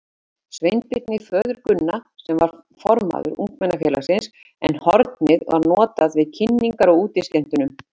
Sveinbirni, föður Gunna, sem var formaður ungmennafélagsins, en hornið var notað við kynningar á útiskemmtunum.